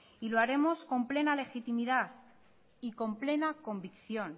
y lo haremos con plena legitimidad y con plena convicción